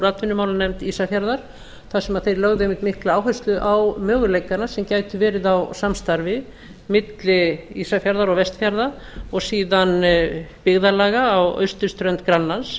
atvinnumálanefnd ísafjarðar þar sem þeir lögðu einmitt mikla áherslu á möguleikana sem gætu verið á samstarfi milli ísafjarðar og vestfjarða og síðan byggðarlaga á austurströnd grænlands